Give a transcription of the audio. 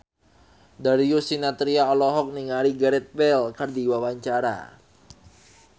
Darius Sinathrya olohok ningali Gareth Bale keur diwawancara